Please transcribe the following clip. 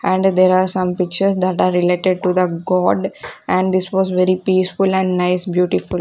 And there are some pictures that are related to the god and this was very peaceful and nice beautiful .